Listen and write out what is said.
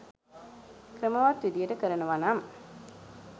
ක්‍රමවත් විදිහට කරනවනම්